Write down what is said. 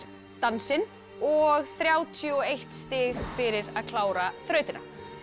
dansinn og þrjátíu og eitt stig fyrir að klára þrautina